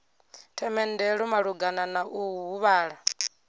themendelo malugana na u huvhala